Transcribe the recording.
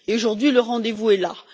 Aujourd'hui, le rendez vous est là.